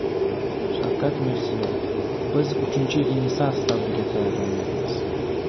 Shavkat Mirziyoyev: Biz uchinchi Renessans davriga tayyorlanyapmiz.